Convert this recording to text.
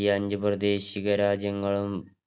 ഈ അഞ്ച് പ്രാദേശിക രാജ്യങ്ങളും